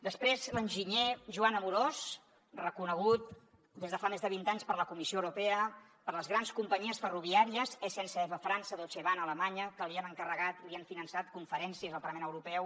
després l’enginyer joan amorós reconegut des de fa més de vint anys per la comissió europea per les grans companyies ferroviàries sncf a frança deutsche bahn a alemanya que li han encarregat i li han finançat conferències al parlament europeu